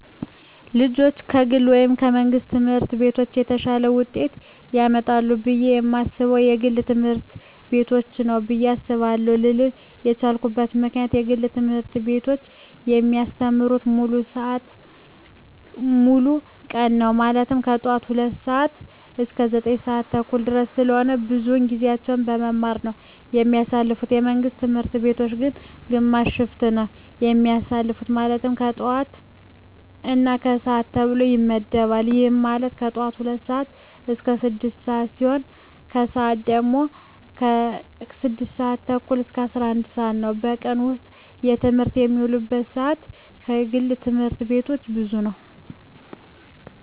ልጆች ከግል ወይም ከመንግሥት ትምህርት ቤቶች የተሻለ ውጤት ያመጣሉ ብየ የማስበው የግል ትምህርት ቤቶችን ነው ብየ አስባለው ልልበት የቻልኩት ምክንያት የግል ትምህርት ቤቶች የሚያስተምሩት ሙሉ ቀን ነው ማለትም ከጠዋቱ 2:00 ሰዓት እስከ 9:30 ድረስ ስለሆነ ብዙውን ጊዜያቸውን በመማማር ነው የሚያሳልፉት የመንግስት ትምህርት ቤቶች ግን ግማሽ ሽፍት ነው የሚያስተምሩ ማለትም የጠዋት እና የከሰዓት ተብሎ ይመደባል ይህም ማለት የጠዋት ሲሆኑ 2:00 ስዓት እስከ 6:00 ሲሆን የከሰዓት ሲሆኑ ደግሞ 6:30 እስከ 11:00 ነው በቀን ውስጥ በትምህርት የሚውሉበት ሰዓት የግል ትምህርት ቤቶች ብዙ ነው።